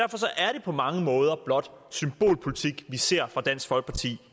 på mange måder blot symbolpolitik vi ser fra dansk folkeparti